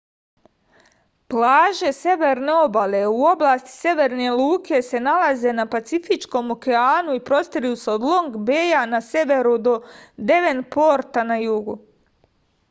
плаже северне обале у области северне луке се налазе на пацифичком океану и простиру се од лонг беја на северу до девенпорта на југу